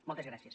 moltes gràcies